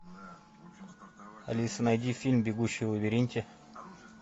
алиса найди фильм бегущий в лабиринте